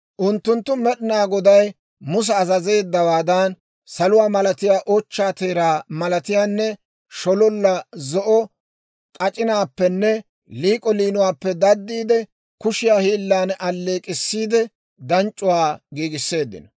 Unttunttu Med'inaa Goday musa azazeeddawaadan saluwaa malatiyaa, ochchaa teeraa malatiyaanne shololla zo'o k'ac'inaappenne liik'o liinuwaappe daddiide, kushiyaa hiillan alleek'k'issiide, danc'c'uwaa giigisseeddino.